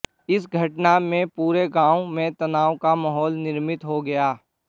इस घटना में पूरे गांव में तनाव का माहौल निर्मित हो गया